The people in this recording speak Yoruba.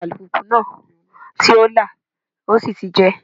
Táyà ọkọ̀ alùpùpù náà ti lá, ó sì ti jẹ́.